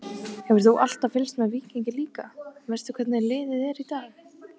Hefur þú alltaf fylgst með Víkingi líka, veistu hvernig liðið er í dag?